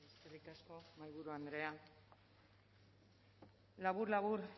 eskerrik asko mahaiburu andrea labur labur